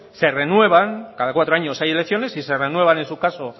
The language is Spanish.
se renuevan cada cuatro años hay elecciones y se renuevan en su caso